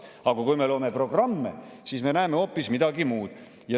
Aga kui me loeme programme, siis me näeme hoopis midagi muud.